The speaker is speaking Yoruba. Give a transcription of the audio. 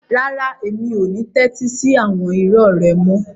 Rárá, mi ò ní tẹ́tí sí àwọn irọ́ rẹ mọ́.